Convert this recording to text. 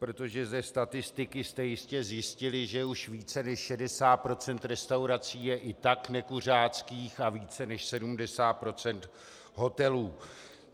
Protože ze statistiky jste jistě zjistili, že už více než 60 % restaurací je i tak nekuřáckých a více než 70 % hotelů.